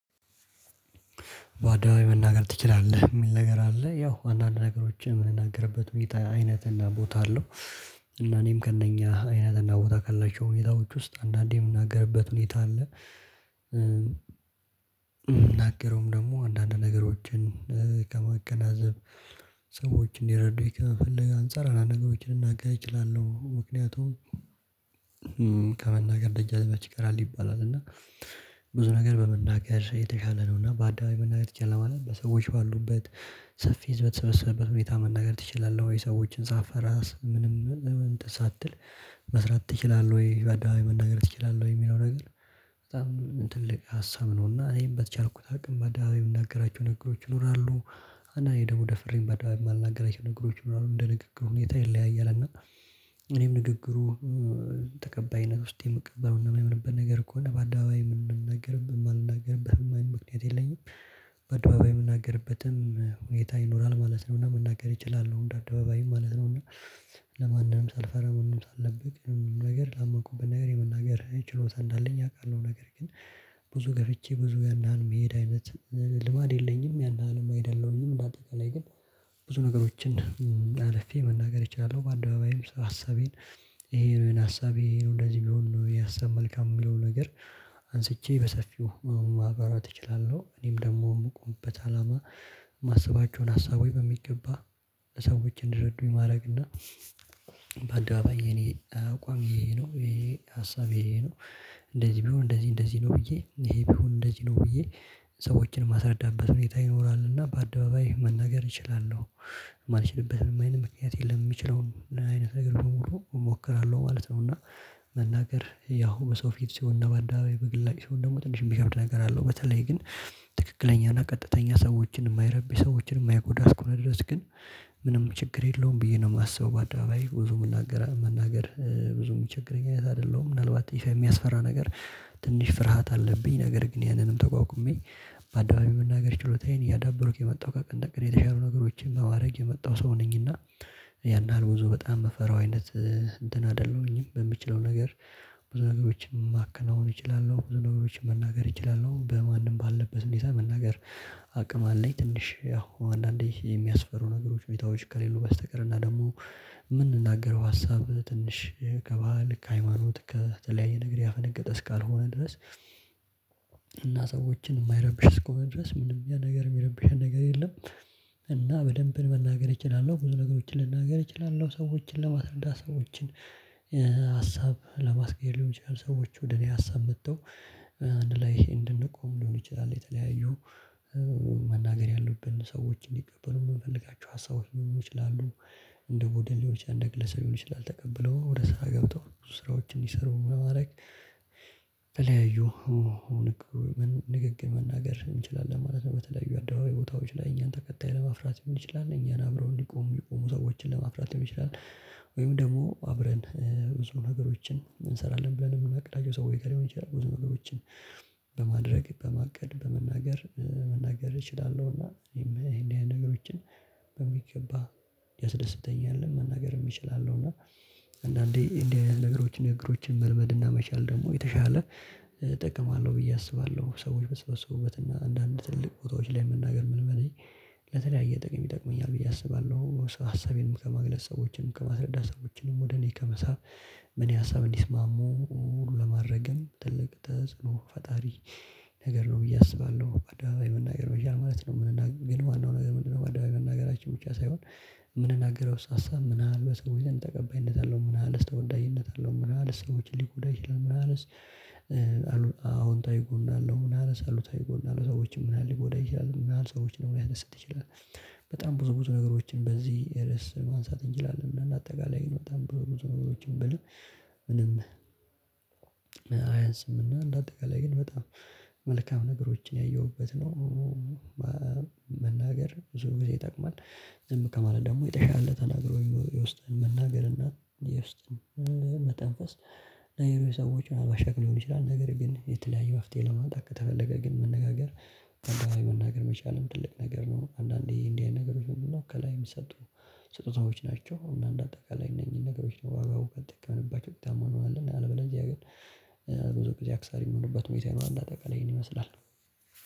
በአደባባይ መናገር ትችላለህ ሚል ነገር አለ ያው አንዳንድ ነገሮችን የምንናገርበት ሁኔታ አይነትና ቦታ አለው። እና እኔም ከእነኛ አይነት እና ቦታ ካላቸው ሁኔታዎች ውስጥ አንዳንዴ የምናገርበት ሁኔታ አለ። የምናገረውም ደግሞ አንዳንድ ነገሮችን ከማገናዘብ ሰዎችን እንዲረዱ ከፈለገ አንፃር አንዳንድ ነገሮችን ልናገር እችላለሁ። ምክንያቱም ከመናገር ደጃዝመች ይቀራል ይባላል እና ብዙ ነገር በመናገር የተሻለ ነው። እና አደባባይ መናገር ይቻላል በሰዎች ባሉበት ሰፊ ህዝብ በተሰበሰበበት ሁኔታ መናገር ትችላለህ ወይ ሰዎችን ሳትፈራ ምንም ሳትል መስራት ትችላለህ? ወይ በአደባባይ መናገር ትችላለህ? ወይ የሚለው ነገር። በጣም ትልቅ ሀሳብ ነውና እኔም በተቻልኩት አቅም በአደባባይ የምነግራችሁ ነገሮች ይኖራሉ። እና እኔ ደግሞ ደፍሬን በአደባባይ የማልናገራቸው ነገሮች ምናምን እንደ ንግግሩ ሁኔታ ይለያያል። እና እኔም ንግግሩ ተቀባይነት ውስጥ የምቀለው እና የምንበል ነገር ከሆነ በአደባባይ ምን እንነግርህ የማልነግርህ ምክንያት የለኝም። በአደባባይ የምናገርበትም ሁኔታ ይኖራል ማለት ነው። እና መናገር ይችላል አደባባይ ማለት ነው። እና ለማንም ሳልፈራ ምንም ሳልደብቅ ምንም ነገር ላመኩብኝ ነገር የመናገር ችሎታ እንዳለኝ ያውቃል ነገር። አይነት ልማድ የለኝም ያንን አለም አይደለሁኝም። በአጠቃላይ ግን ብዙ ነገሮችን አልፌ መናገር እችላለሁ። በአንደባባይም ሀሳቤን ይሄ ነው የናሳቤ ነው እንደዚህ ቢሆን ነው የሀሳብ መልካም የሚለው ነገር አንስቼ በሰፊው ማብራራት እችላለሁ። እኔም ደግሞ የምቆምበት አላማ ማስባቸውን ሀሳቦች በሚገባ ሰዎች እንዲረዱኝ ማድረግና እና በአንደባባይ የኔ አቋም ይሄ ነው ይሄ ሀሳቤ ነው። እንደዚህ ቢሆን እንደዚህ እንደዚህ ነው ብዬ ይሄ ቢሆን እንደዚህ ነው ብዬ ሰዎችን ማስረዳበት ሁኔታ ይኖራል እና በአደባባይ መናገር እችላለሁ። የማልችልበትም አይነት ምክንያት የለም የሚችለው አይነት ነገር በሙሉ እሞክራለሁ ማለት ነው። እና መናገር ያው በሰው ፊት ሲሆን እና በአደባባይ በግላጭ ሲሆን ደግሞ ትንሽ የሚከብድ ነገር አለው። በተለይ ግን ትክክለኛና ቀጥተኛ ሰዎችን የማይረብሽ ሰዎችን የማይጎዳ እስከ ሆነ ድረስ ግን ምንም ችግር የለውም ብዬ ነው የማስበው። በአደባባይ ብዙ መናገር ብዙ የሚቸገረኝ አይነት አይደለሁም። ምናልባት ይሄ የሚያስፈራ ነገር ትንሽ ፍርሃት አለብኝ ነገር ግን ያንንም ተቋቁሜ በአደባባይ መናገር ችሎታዬን እያዳበሩክ የመጣው ከቀንተቀን የተሻሉ ነገሮችን በማድረግ የመጣው ሰው ነኝና። ያን ያህል ብዙ በጣም የምፈራው አይነት እንትን አይደለሁኝም። በምችለው ነገር ብዙ ነገሮችን ማከናወን እችላለሁ ብዙ ነገሮችን መናገር እችላለሁ በማንም ባለበት እንዴት መናገር አቅም አለኝ። ትንሽ ያው አንዳንዴ የሚያስፈሩ ነገሮች ሁኔታዎች ከሌሉ በስተቀር እና ደግሞ የምንናገረው ሀሳብ ትንሽ ከባህል ከሃይማኖት ከተለያየ ነገር ያፈነገጠ እስካልሆነ ድረስ። እና ሰዎችን የማይረብሽ እስኮ መድረስ ምንም ነገር የሚረብሽ ነገር የለም። እና በደንብ መናገር እችላለሁ ብዙ ነገሮችን ልናገር እችላለሁ። ሰዎችን ለማስረዳት ሰዎችን ሀሳብ ለማስገደድ ሊሆን ይችላል ሰዎች ወደ እኔ ሀሳብ መጥተው አንድ ላይ እንድንቆም ሊሆን ይችላል። የተለያዩ መናገር ያሉብንን ሰዎች እንዲቀበሉ የምፈልጋቸው ሀሳቦች ሊሆኑ ይችላሉ። እንደ ቦደል ሊሆን ይችላል እንደ ግለሰብ ሊሆን ይችላል ተቀብለው ወደ ስራ ገብተው ስራዎችን ይሰሩ ማድረግ በለያዩ ንግግር መናገር እንችላለን ማለት ነው። በተለያዩ አደባባይ ቦታዎች ላይ እኛን ተከታይ ለማፍራት ሊሆን ይችላል እኛን አብረው እንዲቆሙ ሰዎችን ለማፍራት ሊሆን ይችላል። ወይም ደግሞ አብረን ብዙ ነገሮችን እንሰራለን ብለን የምናቅዳቸው ሰዎችጋ ሊሆን ይችላል ብዙ ነገሮችን በማድረግ በማቀድ በመናገር መናገር እችላለሁና። ይሄን ያንን ነገሮችን በሚገባ ያስደስተኛል። መናገርም እችላለው እና አንዳንዴ እንዲህ አይነት ነገሮችን እግሮችን መልመድና መቻል ደግሞ የተሻለ እጠቀማለሁ ብዬ አስባለሁ። ሰዎች በሰበሰቡበትና እና አንዳንድ ትልልቅ ቦታዎች ላይ መናገር ምን በለኝ ለተለያየ ጥቅም ይጠቅመኛል ብዬ አስባለሁ። ሀሳቤንም ከማግለስ ሰዎችንም ከማስለዳ ሰዎችንም ወደ ላይ ከመሳብ ምን ያህል ሀሳብ እንዲስማሙ ለማድረግም ትልቅ ተጽኖ ፈጣሪ ነገር ነው። ብዬ አስባለሁ በአደባባይ መናገር መቻል ማለት ነው። የምንናገረው ግን ዋናው ነገር ምንድነው? አደባባይ መናገራችን ብቻ ሳይሆን የምንናገረውስ ሀሳብ ምን ያህል በሰዎች ዘንድ ተቀባይነት አለው። ምን ያህልስ ተወዳጅነት አለው። ምን ያህልስ ሰዎችን ሊጎዳ ይችላል። ምን ያህልስ አዎንታዊ ጎን አለው ምን ያህልስ አሉሳሉታዊ ጎን አለው። ሰዎችም ምን ያህል ሊጎዳ ይችላል ምን ያህል ሰዎችን ሊያደርስ ይችላል። በጣም ብዙ ብዙ ነገሮችን በዚህ ርዕስ ማንሳት እንችላለን። እና ለአጠቃላይ ነው በጣም ብዙ ብዙ ነገሮችን ብሎ ምንም አያንስምና እንደ አጠቃላይ ግን በጣም መልካም ነገሮችን ያየሁበት ነው። መናገር ዙር ጊዜ ይጠቅማል። ዝም ከማለት ደግሞ የጠሻለ ተናግሮ የውስጥን መናገር እና የውስጥን መተንፈስ ነይሩ ሰዎችን ምናልባት ሻቅ ሊሆን ይችላል። ነገር ግን የተለያየ መፍትሄ ለመጣት ከተፈለገ ግን መነጋገር አንዳንዴ መናገር መቻልም ትልቅ ነገር ነው። አንዳንዴ እንዲህ አይነት ነገሮች ምንድነው? ከላይም የሚሰጡ ስጦታዎች ናቸው። እና እንደ አጠቃላይ እነኝ ነገሮች ነው በዋጋው በተጠቀምንባቸው ውጤታማ እንሆናለን። አለበለዚያ ግን ብዙ ጊዜ አክሳሪ የሚሆኑበት ሁኔታ ይኖራል። እንደ አጠቃላይ ይህን ይመስላል።